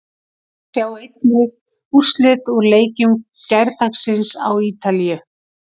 Sjá einnig: Úrslit úr leikjum gærdagsins á Ítalíu